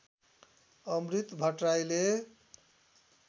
अमृत भट्टराईले